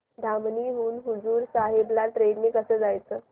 धामणी हून हुजूर साहेब ला ट्रेन ने कसं जायचं